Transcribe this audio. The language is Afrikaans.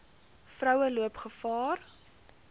vroue loop gevaar